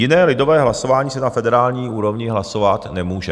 Jiné lidové hlasování se na federální úrovni hlasovat nemůže.